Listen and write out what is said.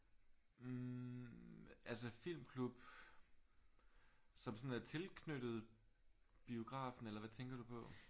Øh altså filmklub som sådan er tilknyttet biografen eller hvad tænker du på?